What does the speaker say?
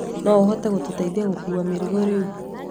No hote gũgũteithia gũkuua mĩrigo rĩu.